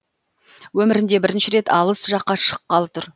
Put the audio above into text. өмірінде бірінші рет алыс жаққа шыққалы тұр